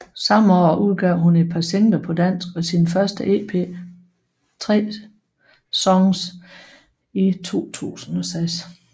Samme år udgav hun et par singler på dansk og sin første EP 3 Songs i 2006